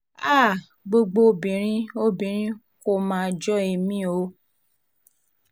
háà gbogbo obìnrin obìnrin kò mà jọ èmi o